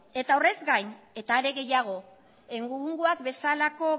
horrez gain eta are gehiago gaur egungo bezalako